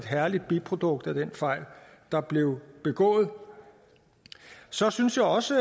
herlige biprodukt af den fejl der blev begået så synes jeg også